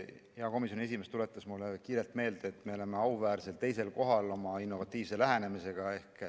Hea komisjoni esimees tuletas mulle kiirelt meelde, et me oleme auväärsel teisel kohal oma innovatiivse lähenemisega.